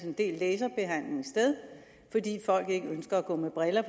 en del laserbehandlinger sted fordi folk ikke ønsker at gå med briller